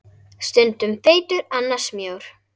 Stundum feitur, annars mjór.